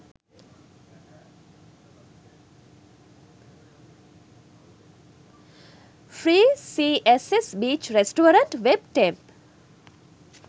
free css beach resturante web temp